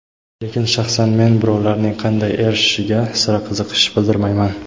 Lekin shaxsan men birovlarning qanday erishishiga sira qiziqish bildirmayman.